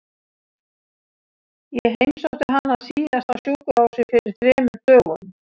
Ég heimsótti hana síðast á sjúkrahúsið fyrir þremur dögum.